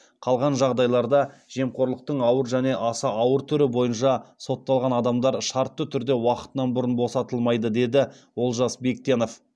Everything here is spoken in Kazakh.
қалған жағдайларда жемқорлықтың ауыр және аса ауыр түрі бойынша сотталған адамдар шартты түрде уақытынан бұрын босатылмайды деді олжас бектенов